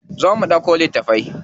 Zo mu ɗauko littafai.